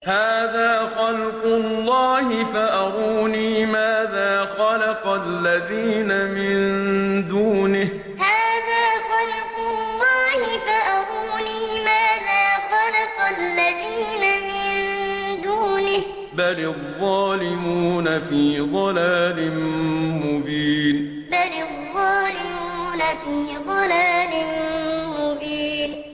هَٰذَا خَلْقُ اللَّهِ فَأَرُونِي مَاذَا خَلَقَ الَّذِينَ مِن دُونِهِ ۚ بَلِ الظَّالِمُونَ فِي ضَلَالٍ مُّبِينٍ هَٰذَا خَلْقُ اللَّهِ فَأَرُونِي مَاذَا خَلَقَ الَّذِينَ مِن دُونِهِ ۚ بَلِ الظَّالِمُونَ فِي ضَلَالٍ مُّبِينٍ